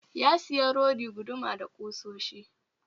Ya sayi rodi, guduma da kusoshi